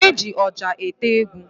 E ji oja ete egwu